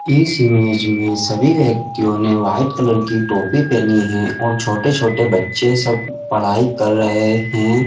इस इमेज में सभी वाइट कलर की टोपी पहनी है और छोटे-छोटे बच्चे सब पढाई कर रहे है।